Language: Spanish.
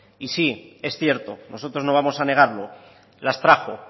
y sí es cierto nosotros no vamos a negarlo las trajo